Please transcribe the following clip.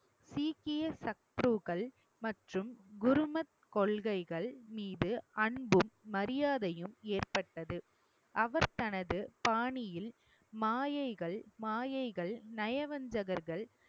சீக்கிய சத்ரூகள் மற்றும் குருமத் கொள்கைகள் மீது அன்பும் மரியாதையும் ஏற்பட்டது. அவர் தனது பாணியில் மாயைகள் மாயைகள் நயவஞ்சகர்கள்